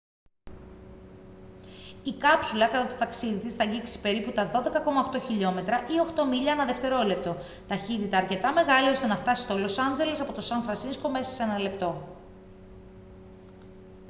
η κάψουλα κατά το ταξίδι της θα αγγίξει περίπου τα 12,8 χιλιόμετρα ή 8 μίλια ανά δευτερόλεπτο ταχύτητα αρκετά μεγάλη ώστε να φτάσει στο λος άτζελες από το σαν φρανσίσκο μέσα σε ένα λεπτό